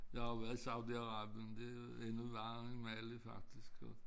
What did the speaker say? Jeg har jo været i Saudi Arabien det er endnu varmere end Mali faktisk så